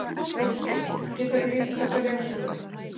Þórdís: Geturðu lýst þessari ösku?